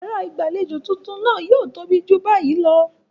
Yàrá ìgbàlejò ilé tuntun náà yóò tóbi ju báyìí lọ.